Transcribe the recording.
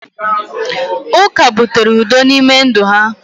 uka butere udo n’ime ndụ ha